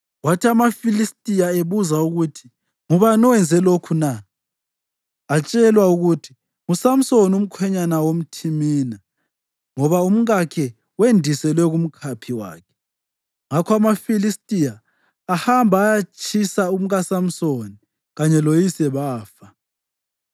Kwathi amaFilistiya ebuza ukuthi, “Ngubani owenze lokhu na?” atshelwa ukuthi, “NguSamsoni, umkhwenyana womThimina ngoba umkakhe wendiselwa kumkhaphi wakhe.” Ngakho amaFilistiya ahamba ayatshisa umkaSamsoni kanye loyise, bafa.